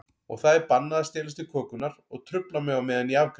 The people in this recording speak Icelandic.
Og það er bannað að stelast í kökurnar og trufla mig á meðan ég afgreiði.